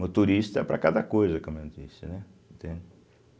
Motorista para cada coisa, como eu disse, né? entende